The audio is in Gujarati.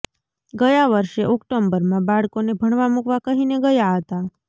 ગયા વર્ષે ઓક્ટોબરમાં બાળકોને ભણવા મૂકવા કહીને ગયા હતા